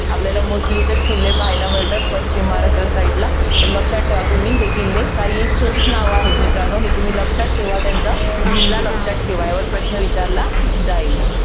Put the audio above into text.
आपल्याला mostly इथेच किल्ले पाहायला मिळतात. पश्चिम महाराष्ट्राच्या side ला. तर लक्षात ठेवा तुम्ही हे किल्ले. थोडीच नावे आहेत. ही तुम्ही लक्षात ठेवा. त्याचं जिल्हा लक्षात ठेवा. त्याच्यावर प्रश्न विचारला जाईल.